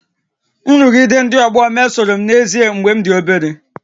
Nrụgide ndị ọgbọ mesoro m n'ezie mgbe m dị obere